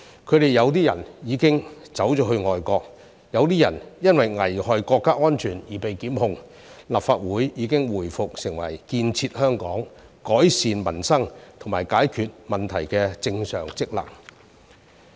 他們有些人已經去了外國，有些人因為危害國家安全而被檢控，而立法會已經回復其建設香港、改善民生和解決問題的正常職能。